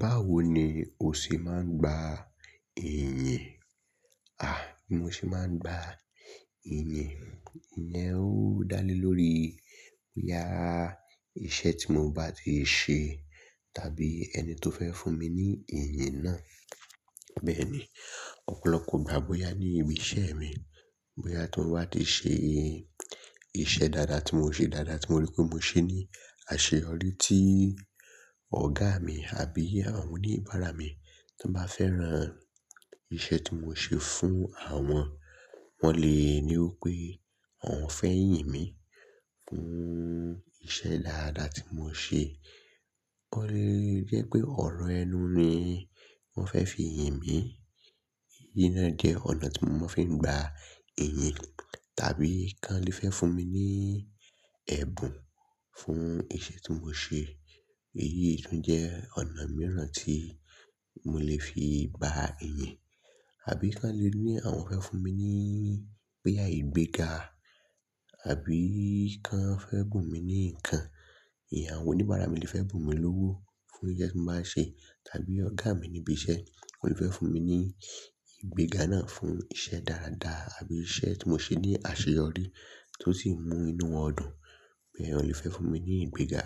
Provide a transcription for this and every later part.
Báwo ni o ṣe máa ń gba ìyìn? Àh, bí mo ṣe máa ń gba ìyìn, ìyẹn ó dá lé lórí, yàá, iṣẹ́ tí mo bá ti ṣe tàbí ẹni tó fẹ́ fún mi ní ìyìn náà. Bẹ́ẹ̀ ni, ọ̀pọ̀lọpọ̀ ìgbà bóyá ní ibi iṣẹ́ mi, bóyá tí mo bá ti ṣe iṣẹ́ dáadáa tí mo ṣe dáadáa tí mo rí pé mo ṣe ní àṣeyọrí tí ọ̀gá mi àbí àwọn oníbàárà mi tó bá fẹ́ran iṣẹ́ tí mo ṣe fún àwọn, wọ́n lè ní o pé àwọn fẹ́ yìn mí fún iṣẹ́ dáadáa tí mo ṣe. Ó lè jẹ́ pé ọ̀rọ̀ ẹnu ni wọ́n fẹ́ fi yìn mí. Èyí náà jẹ́ ọ̀nà tí wọ́n fi ń gba ẹ̀yìn. Tàbí kí wọ́n lè fẹ́ fún mi ní ẹ̀bùn fún iṣẹ́ tí mo ṣe. Èyí tún jẹ́ ọ̀nà mìíràn tí mo lè fi gba ìyìn. Àbí kí lè ní àwọn fẹ́ fún mi ní bòya ìgbéga àbí kí wọ́n fẹ́ bùn mi ní nǹkan. Ìyẹn àwọn oníbàárà mi lè fẹ́ bùn mi lówó fún iṣẹ́ tí mo bá ń ṣe tàbí ọ̀gá mi ní ibi iṣẹ́, ó lè fẹ́ fún mi ní ìgbéga náà fún iṣẹ́ dáadáa àbí iṣẹ́ tí mo ṣe ní àṣeyọrí tó sì mú inú wọn dùn. Bẹ́ẹ̀ wọ́n lè fẹ́ fún mi ní ìgbéga.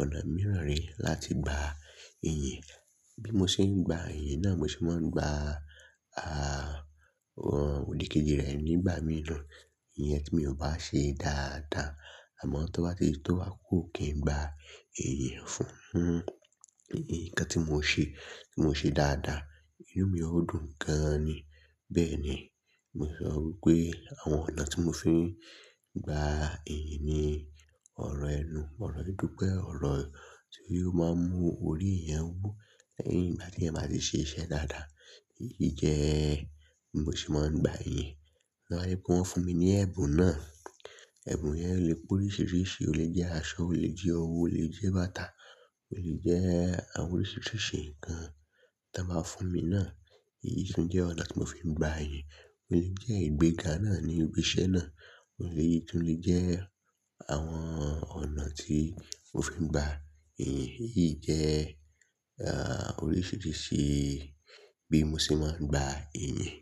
Ọ̀nà mìíràn re láti gba ìyìn. Bí mo ṣe ń gba ìyìn náà, mo sì máa ń gba, à, àwọn òdìkejì rẹ̀ nígbà mìíràn. Ìyẹn tí mi ò bá ṣe dáadáa. Àmọ́ tí wọ́n bá ti tó wá kúrò kí n gba ìyìn fún nǹkan tí mo ṣe, tí mo ṣe dáadáa, inú mi ó dùn gan-an ni. Bẹ́ẹ̀ ni, mo sọ pé àwọn ọ̀nà tí mo fi ń gba ìyìn ni ọ̀rọ̀ ẹnu. Ọ̀rọ̀ yí dúpẹ́, ọ̀rọ̀ tí yóò máa mú orí ẹèyàn wọn wú lẹ́yìn ìgbà tí ẹ bá ti ṣe iṣẹ́ dáadáa. Èyí jẹ́ bí mo ṣe máa ń gba ìyìn. Wọn lè bu wọ́n fún mi ní ẹ̀bùn náà. Ẹ̀bùn yẹn lè pé oríṣiríṣi. Ó lè jẹ́ aṣọ, ó lè jẹ́ ọwọ́, ó lè jẹ́ bàtà, ó lè jẹ́ àwọn oríṣiríṣi nǹkan tí wọ́n bá fún mi náà. Èyí tún jẹ́ ọ̀nà tí mo fi ń gba ẹ̀yìn. Ó lè jẹ́ ìgbéga náà ní ibi iṣẹ́ náà. Ó lè, èyí tún lè jẹ́ àwọn ọ̀nà tí mo fi ń gba ìyìn. Èyí jẹ́, ah, oríṣiríṣi bí mo ṣe máa ń gba ìyìn.